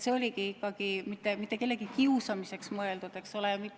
See polnud kellegi kiusamiseks mõeldud.